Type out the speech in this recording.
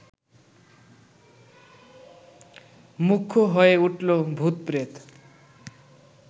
মুখ্য হয়ে উঠল ভূত-প্রেত!